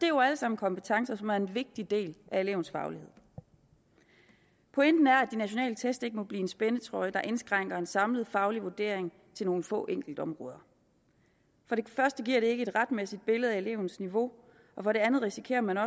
jo alle sammen kompetencer som er en vigtig del af elevens faglighed pointen er at de nationale test ikke må blive en spændetrøje der indskrænker en samlet faglig vurdering til nogle få enkeltområder for det første giver det ikke et retmæssigt billede af elevens niveau og for det andet risikerer man